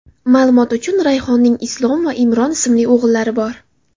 Ma’lumot uchun, Rayhonning Islom va Imron ismli o‘g‘illari bor.